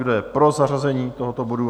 Kdo je pro zařazení tohoto bodu?